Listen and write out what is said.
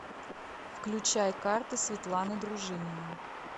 включай карты светланы дружининой